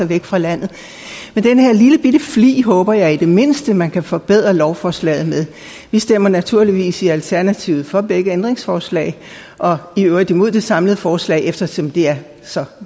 væk fra landet men den her lillebitte flig håber jeg i det mindste man kan forbedre lovforslaget med vi stemmer naturligvis i alternativet for begge ændringsforslag og i øvrigt imod det samlede forslag eftersom det er så